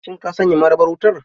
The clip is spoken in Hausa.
Shin ka sanya marabar wutar.